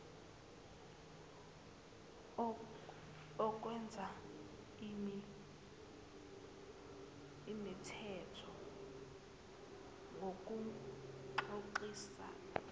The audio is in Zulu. okwenza imithetho ngokuxoxisana